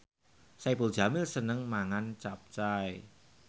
Saipul Jamil seneng mangan capcay